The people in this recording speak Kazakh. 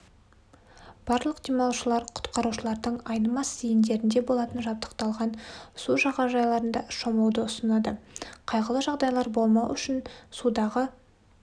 барлық демалушылар құтқарушылардың айнымас зейіндерінде болатын жабдықталған су жағажайларында шомылуды ұсынады қайғылы жағдайлар болмау үшін судағы